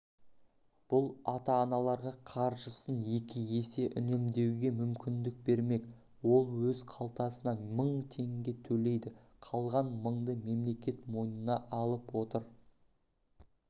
бұл ата-аналарға қаржысын екі есе үнемдеуге мүмкіндік бермек ол өз қалтасынан мың теңге төлейді қалған мыңды мемлекет мойнына алып отыр